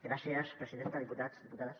gràcies presidenta diputats diputades